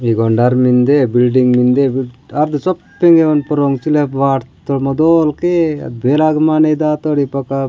ई ग ओंड अर मिंदे बिल्डिंग मिंदे आद शोब पिंगेवान पोरो सुलब वाट तोड़ मोदोल के बेराग माने दा तोड़ ई पपा।